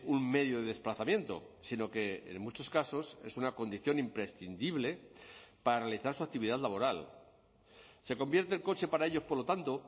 un medio de desplazamiento sino que en muchos casos es una condición imprescindible para realizar su actividad laboral se convierte el coche para ellos por lo tanto